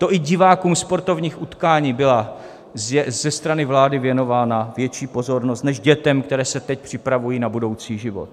To i divákům sportovních utkání byla ze strany vlády věnována větší pozornost než dětem, které se teď připravují na budoucí život.